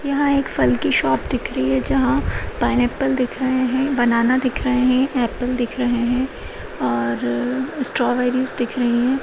यहाँ एक फल की शॉप दिख रही है जहाँ पाइनएप्पल दिख रहे हैं बनाना दिख रहे हैं एप्पल दिख रहे हैं और -अ स्ट्रॉबेरीस दिख रही हैं।